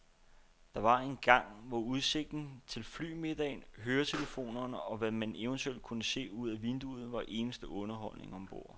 Der var engang, hvor udsigten til flymiddagen, høretelefonerne og hvad man eventuelt kunne se ud ad vinduet, var eneste underholdning ombord.